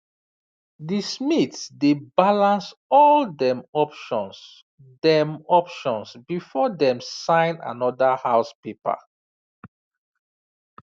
the smith dey balance all dem options dem options before dem sign another house paper